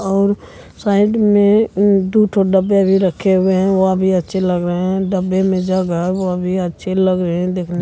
और साइड में दुठो डब्बे भी रखे हुए हैं वो भी अच्छे लग रहे हैं और डब्बे में है वो भी अच्छे लग रहे हैं देखने --